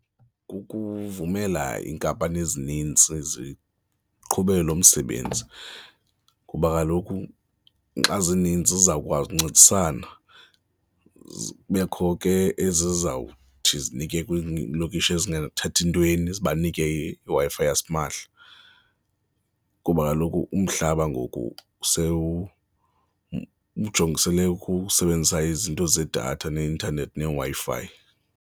Kukuvumela iinkampani ezininzi ziqhube lo msebenzi kuba kaloku xa zininzi, zizawukwazi uncedisana, zibekho ke ezizawuthi zinike kwiilokishi ezingathathi ntweni, zibanike iWi-Fi yasimahla kuba kaloku umhlaba ngoku ujongisele ukusebenzisa izinto zedatha neeintanethi, neWi-Fi.